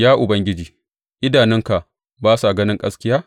Ya Ubangiji, idanunka ba sa ganin gaskiya?